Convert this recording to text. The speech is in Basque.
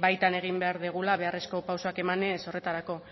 baitan egin behar dugula beharrezko pausuak emanez horretarako